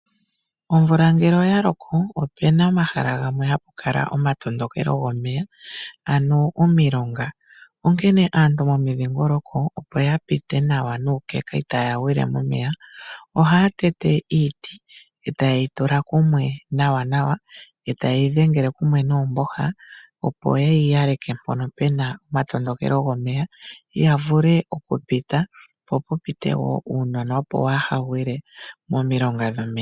Omvula ngele oya loko opu na omahala gamwe hapu kala omatondokelo gomeya , ano omilonga . Onkene aantu momidhingoloko opo ya pite nawa nuukeka itaaya gwile momeya ohaya tete iiti eta yeyi tula kumwe nawa nawa , eta yeyi dhengele kumwe noomboha opo yeyi yaleke mpono puna omatondokelo gomeya , yavule okupita po pu pite woo uunona wo waa ha gwile momilonga dhomeya .